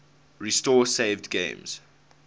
restore saved games